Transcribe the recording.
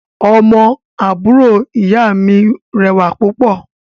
Ọmọ àbúrò ìyá mi rẹwà púpọ̀